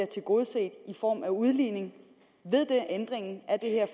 tilgodeset i form af udligning ved ændringen af det her